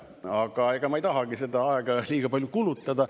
Aga ega ma ei tahagi seda aega liiga palju kulutada.